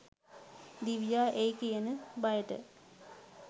දිවියා එයි කියන බයට